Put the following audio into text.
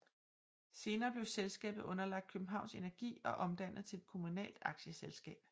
Senere blev selskabet underlagt Københavns Energi og omdannet til et kommunalt aktieselskab